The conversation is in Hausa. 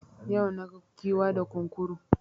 Yau naga Giwa da Kunkuru